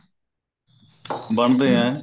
ਬਣਦੇ ਐ